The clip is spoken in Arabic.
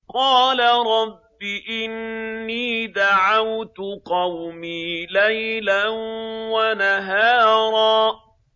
قَالَ رَبِّ إِنِّي دَعَوْتُ قَوْمِي لَيْلًا وَنَهَارًا